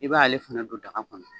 I b'ale fana don daga kɔnɔ.